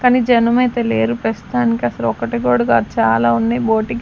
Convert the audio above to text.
కానీ జనం అయితే లేరు ప్రస్తుతానికి అసలు ఒకటి కూడా కాదు చాలా ఉన్నాయి బోటిక్ .